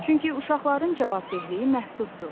Çünki uşaqların cavabdehliyi məhduddur.